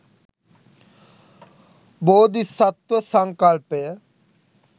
බෝධිසත්ත්ව සංකල්පය